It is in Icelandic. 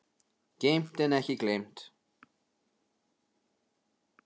Geymt en ekki gleymt